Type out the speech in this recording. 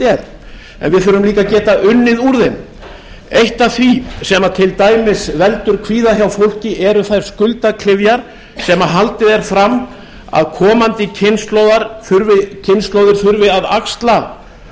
er en við þurfum líka að geta unnið úr þeim eitt af því sem til dæmis veldur kvíða hjá fólki eru þær skuldaklyfjar sem haldið er fram að komandi kynslóðir þurfi að axla